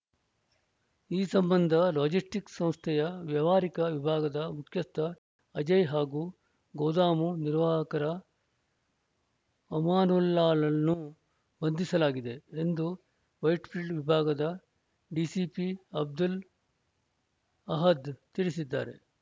ಈ ಸಂಬಂಧ ಲಾಜಿಸ್ಟಿಕ್ಸ್‌ ಸಂಸ್ಥೆಯ ವ್ಯವಹಾರಿಕ ವಿಭಾಗದ ಮುಖ್ಯಸ್ಥ ಅಜಯ್‌ ಹಾಗೂ ಗೋದಾಮು ನಿರ್ವಾಹಕ ಅಮಾನುಲ್ಲಾನನ್ನು ಬಂಧಿಸಲಾಗಿದೆ ಎಂದು ವೈಟ್‌ಫೀಲ್ಡ್‌ ವಿಭಾಗದ ಡಿಸಿಪಿ ಅಬ್ದುಲ್‌ ಅಹದ್‌ ತಿಳಿಸಿದ್ದಾರೆ